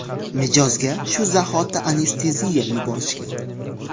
Mijozga shu zahoti anesteziya yuborishgan.